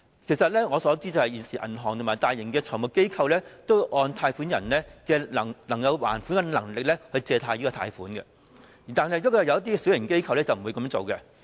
據我所知，現時銀行和大型財務機構都會按照借款人的還款能力批出貸款，但一些小型機構則不會這樣做。